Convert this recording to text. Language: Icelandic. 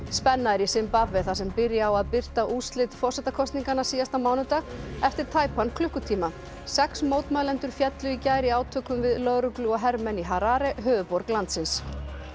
spenna er í Simbabve þar sem byrja á að birta úrslit forsetakosninganna síðasta mánudag eftir tæpan klukkutíma sex mótmælendur féllu í gær í átökum við lögreglu og hermenn í Harare höfuðborg landsins